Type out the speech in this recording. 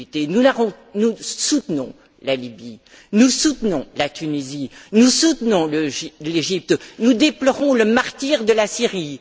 Nous soutenons la Libye, nous soutenons la Tunisie, nous soutenons l'Égypte, nous déplorons le martyre de la Syrie.